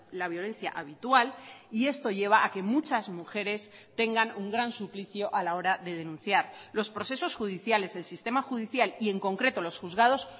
la violencia habitual y esto lleva a que muchas mujeres tengan un gran suplicio a la hora de denunciar los procesos judiciales el sistema judicial y en concreto los juzgados